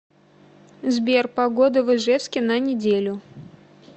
сбер погода в ижевске на неделю